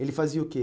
Ele fazia o quê?